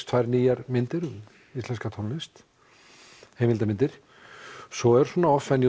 tvær nýjar myndir um íslenska tónlist heimildarmyndir svo er svona off